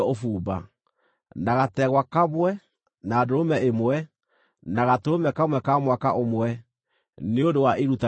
na gategwa kamwe, na ndũrũme ĩmwe, na gatũrũme ka mwaka ũmwe, nĩ ũndũ wa iruta rĩa njino;